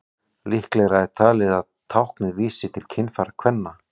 Líklegra er talið að táknið vísi til kynfæra kvenna.